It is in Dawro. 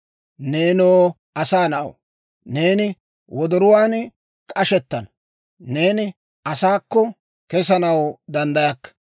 Neenoo asaa na'aw, neeni wodoruwaan k'ashettana; neeni asaakko kesanaw danddayakka.